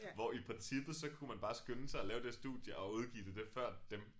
Hvor i princippet så kunne man bare skynde sig at lave det studie og udgive det det før dem